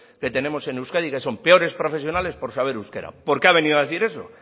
que tenemos en euskadi que son peores profesionales por saber euskera por qué ha venido a decir eso